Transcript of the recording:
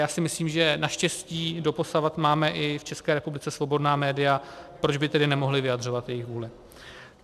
Já si myslím, že naštěstí doposavad máme i v České republice svobodná média, proč by tedy nemohla vyjadřovat jejich vůli.